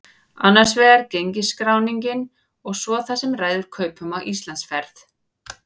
Annars vegar gengisskráningin og svo það sem ræður kaupum á Íslandsferð.